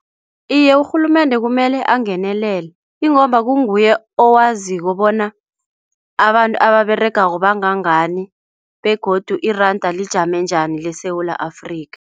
Iye, urhulumende kumele angenelele ingomba nguye owaziko bona abantu ababeregako bangangani, begodu iranda lijame njani leSewula Afrika.